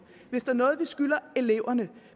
hvis der er noget vi skylder eleverne